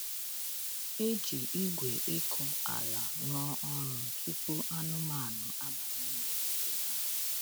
E ji igwe ịkụ ala rụọ ọrụ tupu anụmanụ abanye n’ogige ha.